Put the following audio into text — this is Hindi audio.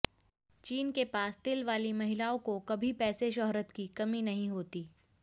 चिन के पास तिल वाली महिलाओं को कभी पैसे शौहरत की कमी नहीं होती